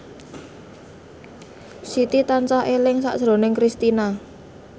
Siti tansah eling sakjroning Kristina